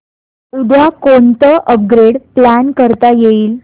उद्या कोणतं upgrade plan करता येईल